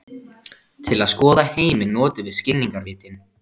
Til að skoða heiminn notum við skilningarvitin.